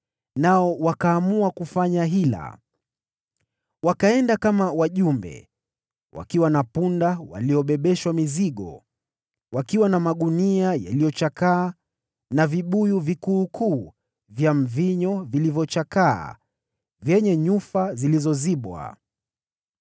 nao wakaamua kufanya hila: Wakajifanya kama wajumbe wakiwa na punda waliobebeshwa mizigo wakiwa na magunia yaliyochakaa na viriba vya mvinyo vikuukuu vyenye nyufa zilizozibwa.